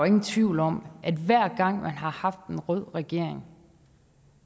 ingen tvivl om at hver gang man har haft en rød regering